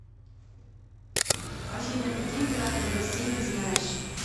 афина какие императоры россии ты знаешь